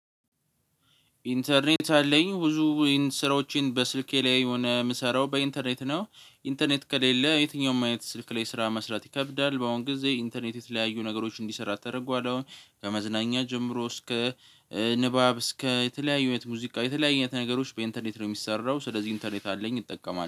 ኢንተርኔት አለኝ ብዙ ስራዎችን በስልኬ ላይ የሆነ ምሰራው በኢንተርኔት ነው። ኢንተርኔት ከሌለ የትኛውም አይነት ስልክ ላይ ስራ መስራት ይከብዳል። በአሁን ጊዜ ኢንተርኔት የተለያዩ ነገሮች እንዲሰራ ተደርጓል። አሁን ከመዝናኛ ጀምሮ እስከ እ ንባብ እስከ የተለያዩ ሙዚቃ የተለያዩ አይነት ነገሮች በኢንተርኔት ነው የሚሰራው። ስለዚህ ኢንተርኔት አለኝ እጠቀማለሁ